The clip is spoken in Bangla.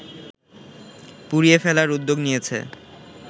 পুড়িয়ে ফেলার উদ্যোগ নিয়েছে